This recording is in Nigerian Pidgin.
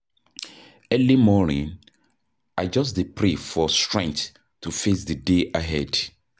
Early morning, I just dey pray for strength to face di day ahead.